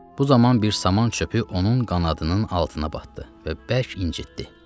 Bu zaman bir saman çöpü onun qanadının altına batdı və bərk incitdi.